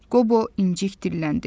Qobo incik dilləndi.